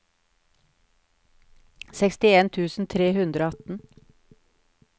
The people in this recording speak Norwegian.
sekstien tusen tre hundre og atten